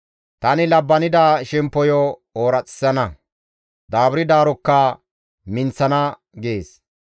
Tani labbanida shemppoyo ooraxissana; daaburdaarokka minththana» gees.